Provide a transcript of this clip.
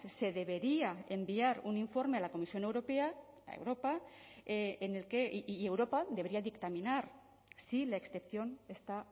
se debería enviar un informe a la comisión europea a europa en el que y europa debería dictaminar si la excepción está